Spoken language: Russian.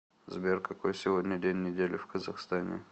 сбер какой сегодня день недели в казахстане